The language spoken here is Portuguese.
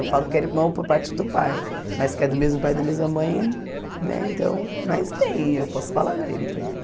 Eu falo que era irmão por parte do pai, mas que é do mesmo pai da mesma mãe, né, então, mas tem, eu posso falar dele também.